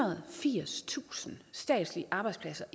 og firstusind statslige arbejdspladser